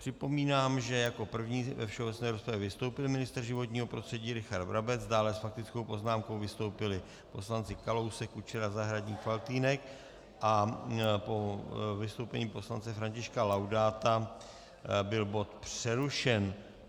Připomínám, že jako první ve všeobecné rozpravě vystoupil ministr životního prostředí Richard Brabec, dále s faktickou poznámkou vystoupili poslanci Kalousek, Kučera, Zahradník, Faltýnek a po vystoupení poslance Františka Laudáta byl bod přerušen.